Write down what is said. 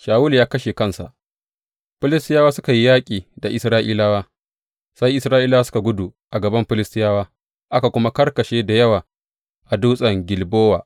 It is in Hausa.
Shawulu ya kashe kansa Filistiyawa suka yi yaƙi da Isra’ilawa, sai Isra’ilawa suka gudu a gaban Filistiyawa, aka kuma karkashe da yawa a dutsen Gilbowa.